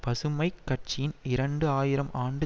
பசுமை கட்சியின் இரண்டு ஆயிரம் ஆண்டு